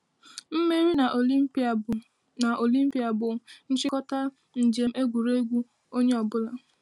Mmeri n’Olimpia bụ n’Olimpia bụ nchikota njem egwuregwu onye ọ bụla.